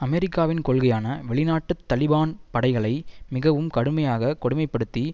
அமெரிக்காவின் கொள்கையான வெளிநாட்டு தலிபான் படைகளை மிகவும் கடுமையாக கொடுமை படுத்தி